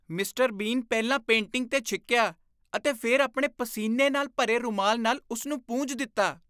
Mister Bean ਪਹਿਲਾਂ painting 'ਤੇ ਛਿੱਕਿਆ ਅਤੇ ਫਿਰ ਆਪਣੇ ਪਸੀਨੇ ਨਾਲ ਭਰੇ ਰੁਮਾਲ ਨਾਲ ਉਸ ਨੂੰ ਪੂੰਝ ਦਿੱਤਾ ।